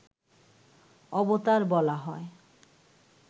অবতার বলা হয়